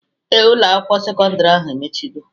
Ee, Ụlọ akwụkwọ sekọndrị ahụ emechigo